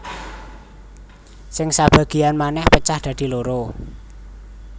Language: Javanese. Sing sabagéyan manèh pecah dadi loro